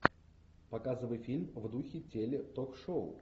показывай фильм в духе теле ток шоу